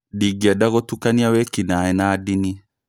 Ndingĩenda gũtukania wĩki-naĩ na ndini